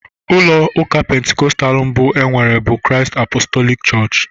Ụlọ ụka pentekostal mbụ enwere bụ Christ Apostolic chọọchị.